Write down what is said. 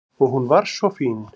Og hún var svo fín.